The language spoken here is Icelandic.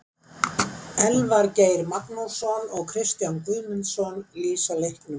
Elvar Geir Magnússon og Kristján Guðmundsson lýsa leiknum.